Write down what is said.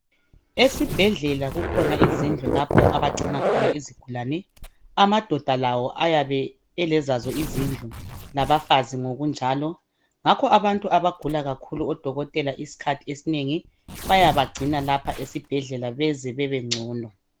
Esibhedlela kukhona izindllu lapho abagcina khona abagulayo. Amadoda qlawo ayabe elazo ezabo izindlu. Labafazi ngokunjalo. Ngakho abantu abagula kakhulu, odokotela isikhathi esinengi bayabagcina lapha esibhedlela. Baze babengcono.